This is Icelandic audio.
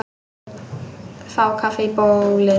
Fá kaffi í bólið.